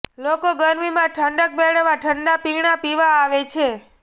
લોકો ગરમીમાં ઠંડક મેળવવા ઠંડા પીણા પીવા આવે છે